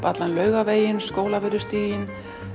allan Laugaveginn og Skólavörðustíginn